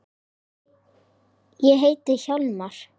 Ég heiti Hjálmar